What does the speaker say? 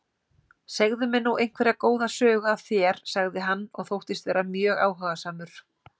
Segðu mér nú einhverja góða sögu af þér sagði hann og þóttist vera mjög áhugasamur.